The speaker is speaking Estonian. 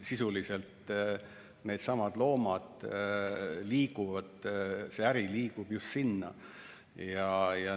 Sisuliselt liigub nendesamade loomade äri just sinna.